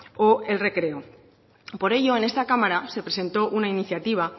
o el recreo por ello en esta cámara se presentó una iniciativa